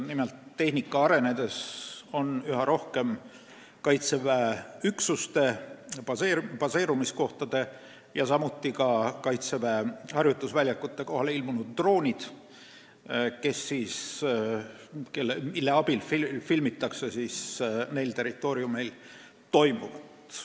Nimelt, tehnika arenedes on üha rohkem Kaitseväe üksuste baseerumiskohtade ja ka harjutusväljakute kohale ilmunud droonid, mille abil filmitakse neil territooriumeil toimuvat.